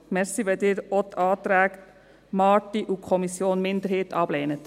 Danke, wenn Sie die Anträge Marti und Kommissionsminderheit auch ablehnen.